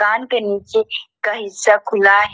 के नीचे का हिस्सा खुला है।